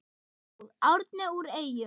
Ljóð: Árni úr Eyjum